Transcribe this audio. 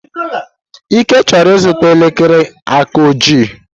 Ike chọrọ ịzụta elekere aka ojii.